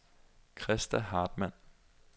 Christa Hartmann